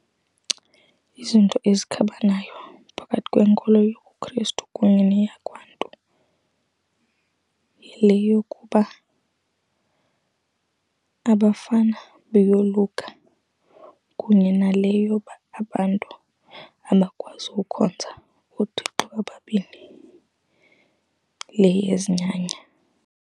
Izinto ezikhabanayo phakathi kwenkolo yobuKristu kunye neyakwaNtu yile yokuba abafana bayoluka kunye nale yoba abantu abakwazi ukhonza ooThixo ababini, le yezinyanya.